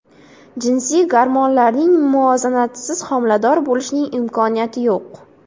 Jinsiy gormonlarning muvozanatisiz homilador bo‘lishning imkoniyati yo‘q.